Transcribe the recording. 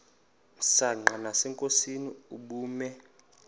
msanqa nasenkosini ubume